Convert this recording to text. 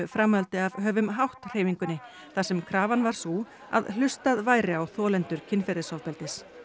framhaldi af höfumhátt hreyfingunni þar sem krafan var sú að hlustað væri á kynferðisofbeldis